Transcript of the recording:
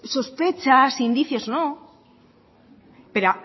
sospechas indicios no pero